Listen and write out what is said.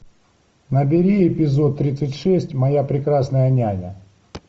набери эпизод тридцать шесть моя прекрасная няня